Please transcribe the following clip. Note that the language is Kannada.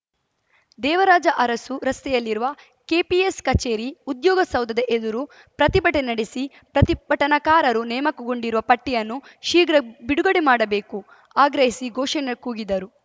ದೇವರಾಜ ಅರಸು ರಸ್ತೆಯಲ್ಲಿರುವ ಕೆಪಿಎಸ್‌ ಕಚೇರಿ ಉದ್ಯೋಗ ಸೌಧದ ಎದುರು ಪ್ರತಿಭಟನೆ ನಡೆಸಿ ಪ್ರತಿಭಟನಾಕಾರರು ನೇಮಕಗೊಂಡಿರುವ ಪಟ್ಟಿಯನ್ನು ಶೀಘ್ರ ಬಿಡುಗಡೆ ಮಾಡಬೇಕು ಆಗ್ರಹಿಸಿ ಘೋಷಣೆ ಕೂಗಿದರು